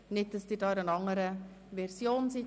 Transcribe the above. Nicht, dass Sie sich auf eine andere Version beziehen.